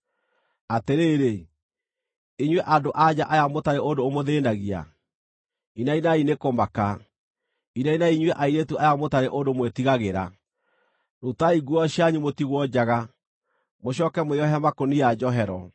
Atĩrĩrĩ, inyuĩ andũ-a-nja aya mũtarĩ ũndũ ũmũthĩĩnagia, inainai nĩ kũmaka; inainai inyuĩ airĩtu aya mũtarĩ ũndũ mwĩtigagĩra! Rutai nguo cianyu mũtigwo njaga, mũcooke mwĩohe makũnia njohero.